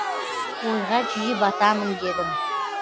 ойға жиі батамын дедің